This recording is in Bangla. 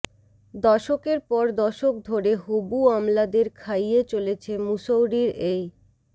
দশকের পর দশক ধরে হবু আমলাদের খাইয়ে চলেছে মুসৌরির এই